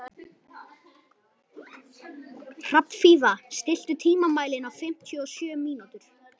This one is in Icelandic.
Hrafnfífa, stilltu tímamælinn á fimmtíu og sjö mínútur.